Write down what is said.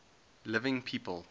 living people